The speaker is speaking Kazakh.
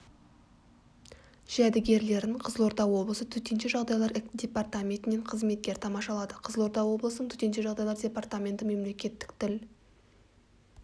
жәдігерлерін қызылорда облысы төтенше жағдайлар департаментінен қызметкер тамашалады қызылорда облысының төтенше жағдайлар департаменті мемлекеттік тіл